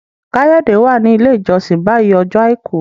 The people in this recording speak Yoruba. Kayode wá ní ilé ìjósìn bayí Ọjọ́ aìkú.